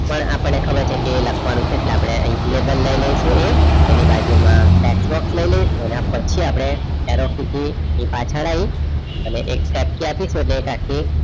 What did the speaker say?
પણ આપને ખબર છે કે લખવાનું છે એટલે આપડે લઇ લઈશુ એક એની બાજુ માં text box લઇ લઇ અને પછી આપણે એ પાછળ આઇ અને એક tab key આપી આપસી એટલે